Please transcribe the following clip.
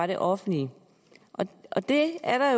det offentlige det er der